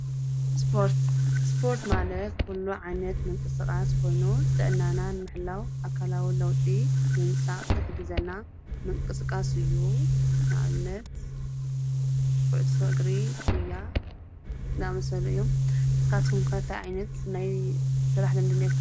ስፖርት ስፖርት ማለት ኩሉ ዓይነት ምንቅስቓስ ኮይኑ ጥዕናና ንምሕላው ኣካላዊ ለውጢ ንምምፃእ ዝሕግዘና ምንቅስቓስ እዩ። ንኣብነት ኩዕሶ እግሪ፣ ጉያ ዝኣመሰሉ እዮም። ንስካትኩም ከ እንታይ ዓይነት ናይ ስራሕ ልምዲ እኒአኩም?